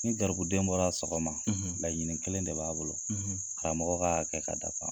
Ni garibuden bɔra sɔgɔma, laɲinin kelen de b'a bolo, karamɔgɔ ka hakɛ ka dafa .